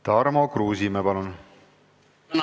Tarmo Kruusimäe, palun!